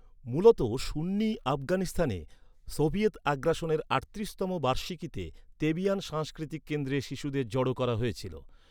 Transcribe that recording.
মূলত সুন্নি আফগানিস্তানে, সোভিয়েত আগ্রাসনের আটত্রিশতম বার্ষিকীতে তেবিয়ান সাংস্কৃতিক কেন্দ্রে শিশুদের জড়ো করা হয়েছিল।